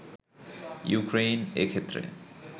Ukraine এ ক্ষেত্রে